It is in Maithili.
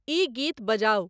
ई गीत बजाऊं